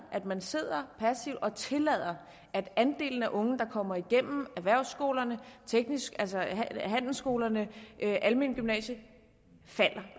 at man sidder passivt og tillader at andelen af unge der kommer igennem erhvervsskolerne handelsskolerne og det almene gymnasium falder